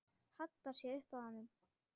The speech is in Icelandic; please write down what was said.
Hallar sér upp að honum.